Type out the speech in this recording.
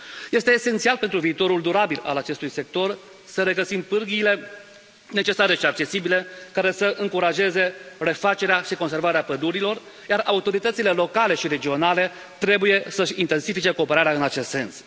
Este esențial pentru viitorul durabil al acestui sector să regăsim pârghiile necesare și accesibile care să încurajeze refacerea și conservarea pădurilor, iar autoritățile locale și regionale trebuie să și intensifice cooperarea în acest sens.